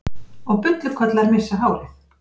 Og bullukollar missa hárið.